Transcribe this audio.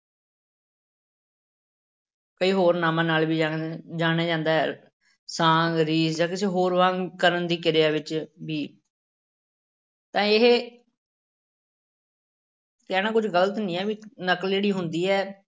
ਕਈ ਹੋਰ ਨਾਵਾਂ ਨਾਲ ਵੀ ਜਾਣਿਆ, ਜਾਣਿਆ ਜਾਂਦਾ ਹੈ, ਸਾਂਗ, ਰੀਸ ਜਾਂ ਕਿਸੇ ਹੋਰ ਵਾਂਗ ਕਰਨ ਦੀ ਕਿਰਿਆ ਵਿੱਚ ਵੀ ਤਾਂ ਇਹ ਕਹਿਣਾ ਕੁੱਝ ਗ਼ਲਤ ਨੀ ਹੈ ਵੀ ਨਕਲ ਜਿਹੜੀ ਹੁੰਦੀ ਹੈ,